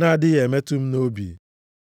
na-adịghị emetụ m nʼobi?